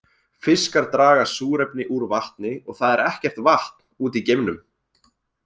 Fiskar draga súrefni úr vatni og það er ekkert vatn úti í geimnum.